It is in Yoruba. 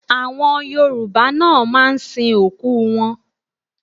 Àwọn Yorùbá náà máa ń sin òkú wọn